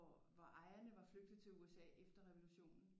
Hvor ejerne var flygtet til USA efter revolutionen